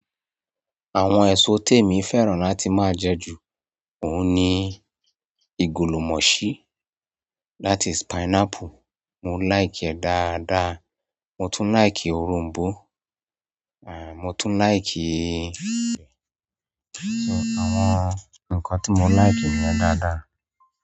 Àwọn èso témi fẹ́ràn láti máa jẹ jù, òun ni ìgòlòmọ̀ṣí that is, pineapple, mo like ẹ̀ dáadáa, mo tún like òroǹbó, mo tún like. So àwọn nǹkan tí mo like nìyẹn dáadáa.